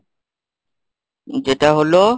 যেটা হলো,